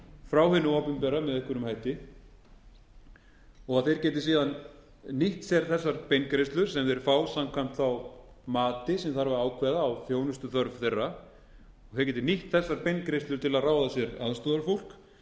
frá hinu opinbera með einhverjum hætti og þeir gætu síðan nýtt sér þessar beingreiðslur sem þeir fá samkvæmt mati sem þarf að ákveða á þjónustuþörf þeirra og þeir geta nýtt sér þessar beingreiðslur til að ráða sér